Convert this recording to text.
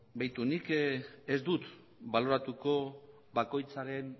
beitu nik ez dut baloratuko bakoitzaren